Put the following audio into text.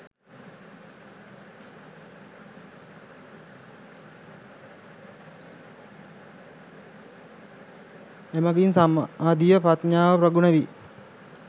එමඟින් සමාධිය, ප්‍රඥාව ප්‍රගුණ වී